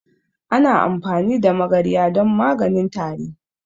Ana amfani da magarya don maganin tari.